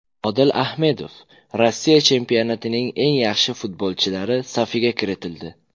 Odil Ahmedov Rossiya chempionatining eng yaxshi futbolchilari safiga kiritildi.